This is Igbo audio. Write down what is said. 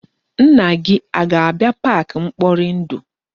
Nna gị a ga-abia park mkporindu?